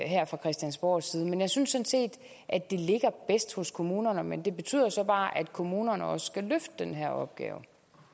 her fra christiansborgs side men jeg synes set at det ligger bedst hos kommunerne men det betyder jo så bare at kommunerne også skal løfte den her opgave